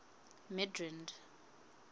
midrand